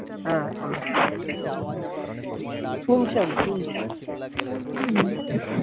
হ্যাঁ বলো শুনছি আমি শুনছি।